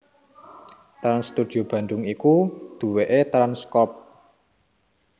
Trans Studio Bandung iku duwéké Trans Crop